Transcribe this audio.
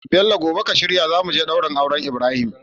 Bello gobe ka shirya zamuje daurin auren Ibrahim